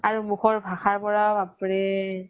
আৰু মুখৰ ভাষাৰ পৰা বাপৰে